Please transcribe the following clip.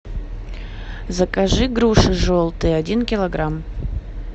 закажи груши желтые один килограмм